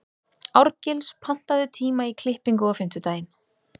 Árgils, pantaðu tíma í klippingu á fimmtudaginn.